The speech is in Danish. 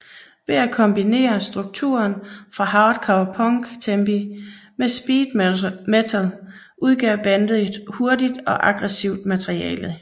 Ved at kombinere strukturen fra Hardcore Punk tempi med Speed metal udgav bandet hurtigt og aggressivt materiale